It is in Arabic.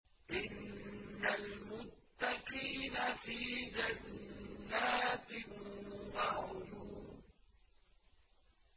إِنَّ الْمُتَّقِينَ فِي جَنَّاتٍ وَعُيُونٍ